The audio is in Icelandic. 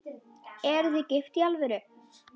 Eruð þið gift í alvöru?